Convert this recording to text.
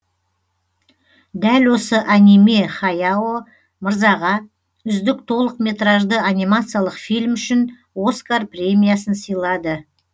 дәл осы аниме хаяо мырзаға үздік толық метражды анимациялық фильм үшін оскар премиясын сыйлады